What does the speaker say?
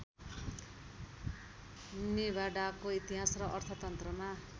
निभाडाको इतिहास र अर्थतन्त्रमा